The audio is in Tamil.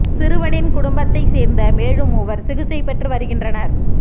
சிறுவனின் குடும்பத்தை சேர்ந்த மேலும் மூவர் சிகிச்சை பெற்று வருகின்றனர்